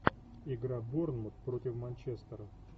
игра борнмут против манчестера